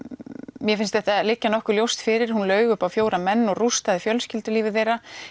mér finnst þetta liggja nokkuð ljóst fyrir hún laug upp á fjóra menn og rústaði fjölskyldulífi þeirra